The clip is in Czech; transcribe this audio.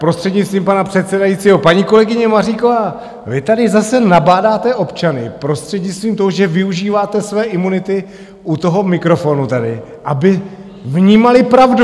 Prostřednictvím pana předsedajícího, paní kolegyně Maříková, vy tady zase nabádáte občany prostřednictvím toho, že využíváte své imunity u toho mikrofonu tady, aby vnímali pravdu!